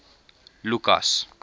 lukas